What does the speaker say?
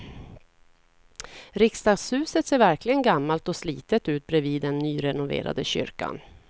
Riksdagshuset ser verkligen gammalt och slitet ut bredvid den nyrenoverade kyrkan.